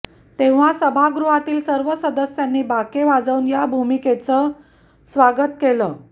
तेव्हा सभागृहातील सर्व सदस्यांनी बाके वाजवून या भूमिकेचे स्वागत केले